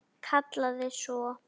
Kallaði svo